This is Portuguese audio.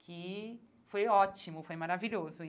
Que foi ótimo, foi maravilhoso.